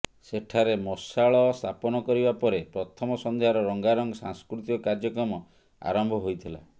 ସେଠାରେ ମଶାଳ ସ୍ଥାପନ କରିବା ପରେ ପ୍ରଥମ ସନ୍ଧ୍ୟାର ରଙ୍ଗାରଙ୍ଗ ସାସ୍କୃତିକ କାର୍ଯ୍ୟକ୍ରମ ଆରମ୍ଭ ହୋଇଥିଲା